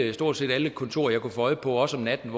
i stort set alle kontorer jeg kunne få øje på også om natten